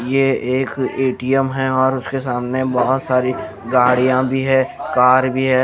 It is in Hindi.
ये एक ए_टी_एम है और उसके सामने बहोत सारी गाड़ियाँ भी हैं कार भी है।